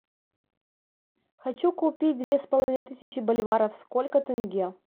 хочу купить две с половиной тысячи боливаров сколько тенге